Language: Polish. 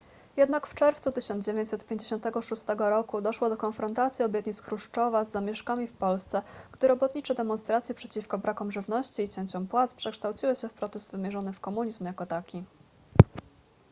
jednak w czerwcu 1956 roku doszło do konfrontacji obietnic chruszczowa z zamieszkami w polsce gdy robotnicze demonstracje przeciwko brakom żywności i cięciom płac przekształciły się w protest wymierzony w komunizm jako taki